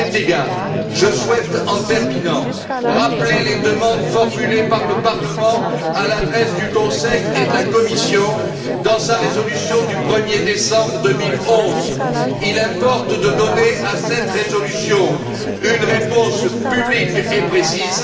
À cet égard, je souhaite, en terminant, rappeler les demandes formulées par le Parlement à l'adresse du Conseil et de la Commission dans sa résolution du 1er décembre 2011. Il importe de donner à cette résolution une réponse publique et précise.